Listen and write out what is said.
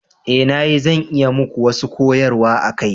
Eh na yi, zan iya yi muku wasu koyarwa a kai.